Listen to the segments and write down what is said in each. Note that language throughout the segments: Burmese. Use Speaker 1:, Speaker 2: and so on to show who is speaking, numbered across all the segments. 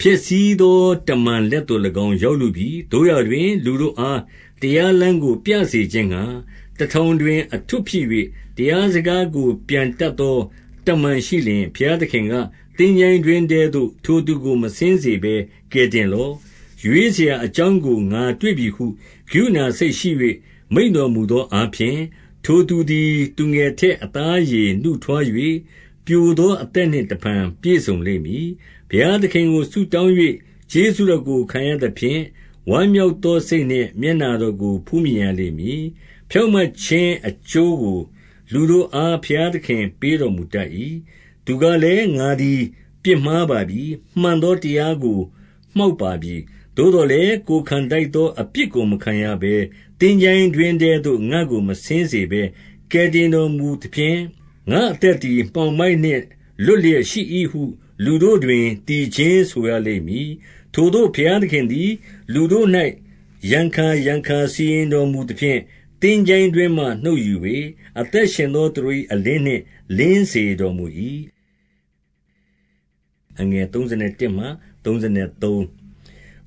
Speaker 1: ၊ ဖျက်ဆီးသော တမန်လက်သို့၎င်း ရောက်လုပြီ။ သို့ရာတွင်လူတို့အားတရားလမ်းကို ပြစေခြင်းငှါ၊ တထောင်တွင် အထွဋ်ဖြစ်၍၊ တရားစကားကို ပြန်တတ် သော တမန်ရှိလျှင်၊ ဘုရားသခင်က၊ သင်္ချိုင်းတွင်းထဲသို့ထိုသူကို မဆင်းစေဘဲ ကယ်တင်လော့။ ရွေးရာအကြောင်းကို ငါတွေ့ပြီဟု ကရုဏာစိတ်ရှိ၍ မိန့်တော်မူသောအားဖြင့်၊ ထိုသူသည် သူငယ်ထက်အသားအရေနုထွား၍ ပျိုသောအသက်နှင့်တဖန်ပြည့်စုံလိမ့်မည်။ ဘုရားသခင်ကို ဆုတောင်း၍ကျေးဇူးတော်ကို ခံရသဖြင့်၊ ဝမ်းမြောက်သောစိတ်နှင့် မျက်နှာတော်ကို ဖူးမြင်ရလိမ့်မည်။ ဖြောင့်မတ်ခြင်းအကျိုးကို လူတို့အား ဘုရားသခင်ပေးတော်မူတတ်၏။ သူကလည်း၊ ငါသည် ပြစ်မှားပါပြီ။ မှန်သော တရားကိုမှောက် ပါပြီ။ သို့သော်လည်း ကိုယ်ခံထိုက်သော အပြစ်ကိုမခံရဘဲ၊ သင်္ချိုင်းတွင်းထဲသို့ ငါ့ကိုမဆင်းစေဘဲ ကယ်တင် တော်မူသဖြင့်၊ ငါ့အသက်သည် မှောင်မိုက်နှင့် လွတ် လျက်ရှိ၏ဟု လူတို့တွင် သီချင်းဆိုရလိမ့်မည်။ ထိုသို့ဘုရားသခင်သည် လူတို့၌ ရံခါရံခါစီရင် တော်မူသဖြင့်၊ သင်္ချိုင်းတွင်းမှနှုတ်ယူ၍၊ အသက်ရှင်သော သူတို့၏အလင်းနှင့် လင်းစေတော်မူ၏။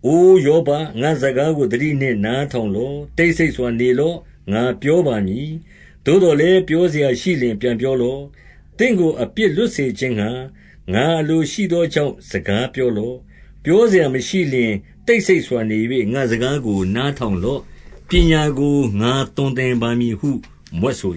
Speaker 1: အိုယောဘ၊ ငါ့စကားကို သတိနှင့်နားထောင် လော့။ တိတ်ဆိတ်စွာနေလော့။ ငါပြောပါမည်။ သို့သော်လည်း ပြောစရာရှိလျှင် ပြန်ပြောလော့။ သင့်ကို အပြစ်လွတ်စေခြင်းငှါ၊ ငါအလိုရှိသောကြောင့် စကားပြောလော့။ ပြောစရာမရှိလျှင်၊ တိတ်ဆိတ်စွာနေ၍ ငါ့စကားကို နားထောင်လော့။ ပညာကိုငါသွန်သင်ပါမည် ဟု မြွက်ဆို